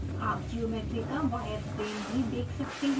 आप ज्योमेट्री का wire frame भी देख सकते हैं